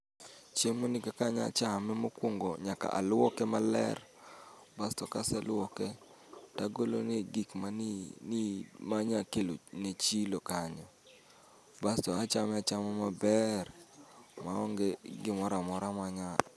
Chiemo ni kaka anya chame mokwongo nyaka alwoke maler. Kaseluoke, tagolone gik ma ni ni manya kelo ne chilo kanyo. Basto achame achama maber maonge gi gimoramora ma nya.